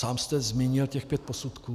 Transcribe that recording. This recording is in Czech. Sám jste zmínil těch pět posudků.